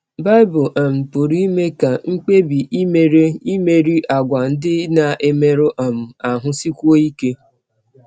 Bible um pụrụ ime ka mkpebi i mere imerị àgwà ndị na - emerụ um ahụ sikwụọ ike